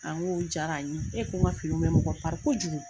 n ko jaara n ye e ko n ka finiw bɛ mɔgɔ kojugu.